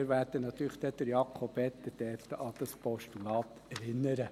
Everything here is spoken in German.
Wir werden dann Jakob Etter natürlich an dieses Postulat erinnern.